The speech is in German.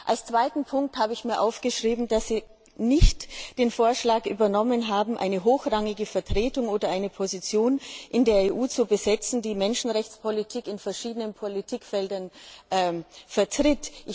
Als zweiten Punkt habe ich mir aufgeschrieben, dass Sie den Vorschlag nicht übernommen hatten, eine hochrangige Vertretung oder eine Position in der EU zu besetzen, die Menschenrechtspolitik in verschiedenen Politikfeldern vertritt.